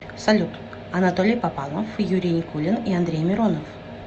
салют анатолий попанов юрий никулин и андрей миронов